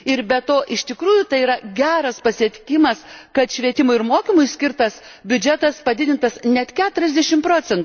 Ir be to, iš tikrųjų tai yra geras pasiekimas, kad švietimui ir mokymui skirtas biudžetas padidintas net 40 proc.,